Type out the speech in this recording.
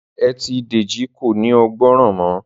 Ẹtì Deji kò ní o gbórò mọ